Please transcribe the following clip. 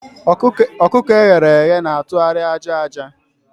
ọkụkọ e ghere eghe na-atụgharị aja aja.